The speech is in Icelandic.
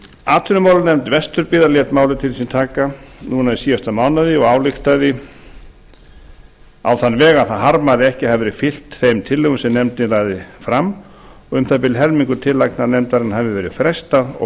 atvinnumálanefnd vesturbyggðar lét málið til sín taka núna í síðasta mánuði að ályktaði á þann veg að það harmaði að ekki að hafi verið fylgt þeim tillögum sem nefndin lagði fram um það bil helmingi tillagna nefndarinnar hefði verið frestað og